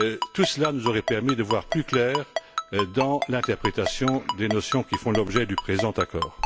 Tout cela nous aurait permis d'y voir plus clair dans l'interprétation des notions qui font l'objet de cet accord.